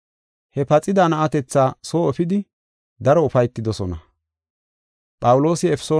He paxida na7atetha soo efidi daro ufaytidosona.